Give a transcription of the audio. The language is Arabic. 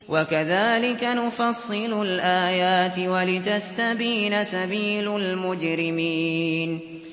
وَكَذَٰلِكَ نُفَصِّلُ الْآيَاتِ وَلِتَسْتَبِينَ سَبِيلُ الْمُجْرِمِينَ